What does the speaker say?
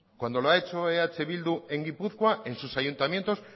cuando lo ha hecho eh bildu en gipuzkoa en sus ayuntamientos